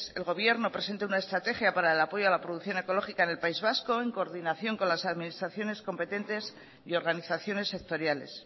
el gobierno presente una estrategia para el apoyo a la producción ecológica en el país vasco en coordinación con las administraciones competentes y organizaciones sectoriales